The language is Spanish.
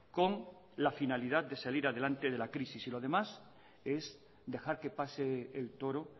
con la finalidad de salir adelante de la crisis y lo demás es dejar que pase el toro